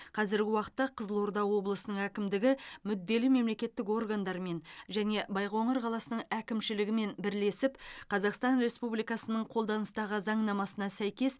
қазіргі уақытта қызылорда облысының әкімдігі мүдделі мемлекеттік органдармен және байқоңыр қаласының әкімшілігімен бірлесіп қазақстан республикасының қолданыстағы заңнамасына сәйкес